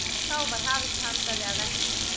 Þá var hafist handa við að versla.